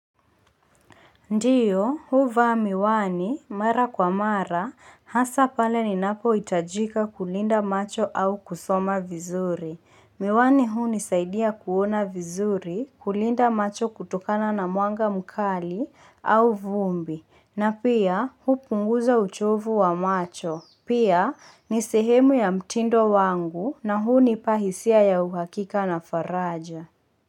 Ndio, huvaa miwani, mara kwa mara, hasa pale ninapohitajika kulinda macho au kusoma vizuri. Miwani huu nisaidia kuona vizuri, kulinda macho kutokana na mwanga mkali, au vumbi, na pia hupunguza uchovu wa macho. Pia, ni sehemu ya mtindo wangu na hunipa hisia ya uhakika na faraja.